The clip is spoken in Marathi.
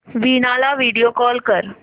वीणा ला व्हिडिओ कॉल कर